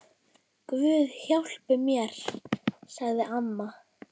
Guð hjálpi mér, sagði amma.